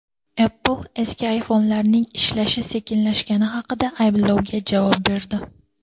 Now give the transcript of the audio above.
Apple eski iPhone’larning ishlashi sekinlashgani haqidagi ayblovga javob berdi.